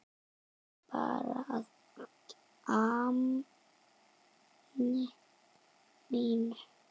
Bara að gamni mínu.